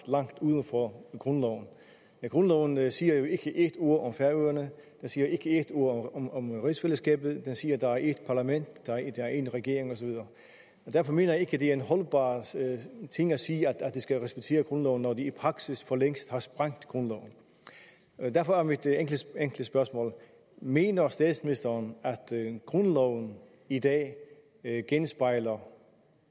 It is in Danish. uden for grundloven grundloven siger jo ikke ét ord om færøerne den siger ikke ét ord om om rigsfællesskabet den siger der er ét parlament der er én regering og så videre derfor mener jeg ikke det er en holdbar ting at sige at de skal respektere grundloven når de i praksis forlængst har sprængt grundloven derfor er mit enkle spørgsmål mener statsministeren at grundloven i dag genspejler